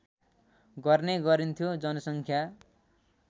गर्ने गरिन्थ्यो जनसङ्ख्या